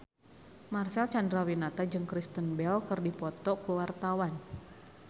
Marcel Chandrawinata jeung Kristen Bell keur dipoto ku wartawan